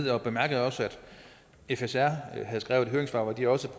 jeg bemærkede også at fsr har skrevet et høringssvar hvor de også